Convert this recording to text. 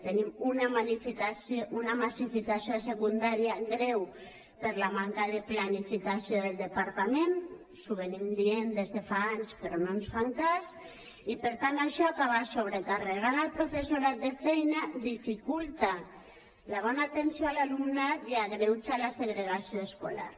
tenim una massificació a secundària greu per la manca de planificació del departament els ho anem dient des de fa anys però no ens fan cas i per tant això acaba sobrecarregant el professorat de feina dificulta la bona atenció a l’alumnat i agreuja la segregació escolar